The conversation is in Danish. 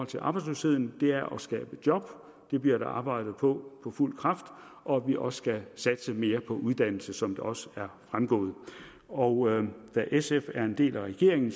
til arbejdsløsheden er at skabe job det bliver der arbejdet på på fuld kraft og at vi også skal satse mere på uddannelse som det også er fremgået og da sf er en del af regeringen